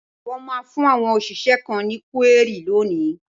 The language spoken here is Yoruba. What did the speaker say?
Wọ́n máa fún àwọn òṣìṣẹ́ kan ní kúérì lónìí.